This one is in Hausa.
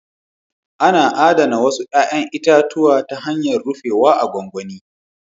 Ana adana wasu 'ya'yan itatuwa ta hanyar rufewa a gwangwani